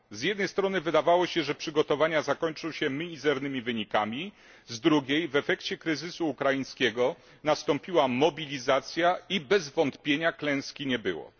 Z jednej strony wydawało się, że przygotowania zakończą się mizernymi wynikami, z drugiej, w efekcie kryzysu ukraińskiego nastąpiła mobilizacja, i bez wątpienia klęski nie było.